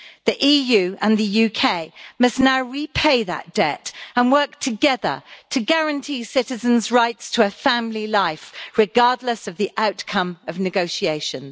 The EU and the UK must now repay that debt and work together to guarantee citizens' rights to a family life, regardless of the outcome of negotiations.